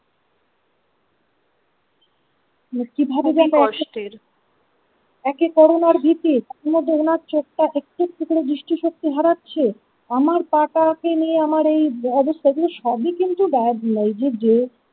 একে করোনার ভীতি তার ই মধ্যে ওনার চোখটা একটু একটু করে দৃষ্টি শক্তি হারাচ্ছে আমার পা টা কে নিয়ে আমার এই অবস্থা এগুলো সবই কিন্তু যে।